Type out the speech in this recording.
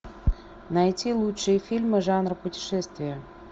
найти лучшие фильмы жанра путешествия